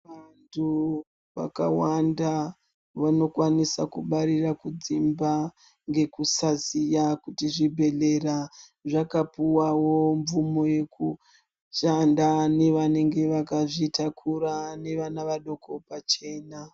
Vantu vakawanda vanokwanisa kubarira kudzimba ngekusaziya kuti zvibhedhlera zvakapuwawo mvumo yekushanda nevanenge vakazvitakura nevana vadoko pachena.